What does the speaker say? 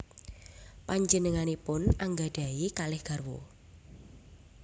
Panjenenganipun anggadhahi kalih garwa